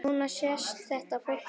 Núna sést þetta fólk varla.